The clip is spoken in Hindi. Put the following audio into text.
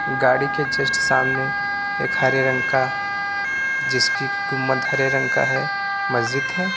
गाड़ी के जस्ट सामने एक हरे रंग का जिसकी गुमद हरे रंग का है मस्जिद है।